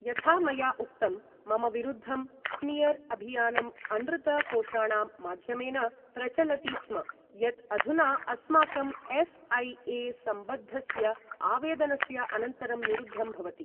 यथा मया उक्तं, मम विरुद्धं स्मियर् अभियानं अनृत कोषाणां माध्यमेन प्रचलति स्म, यत् अधुना अस्माकम् एफ् ऐ ए सम्बद्धस्य आवेदनस्य अनन्तरं निरुद्धं भवति।